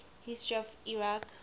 history of iraq